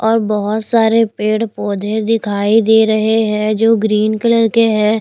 और बहुत सारे पेड़-पौधे दिखाई दे रहे हैं जो ग्रीन कलर के हैं।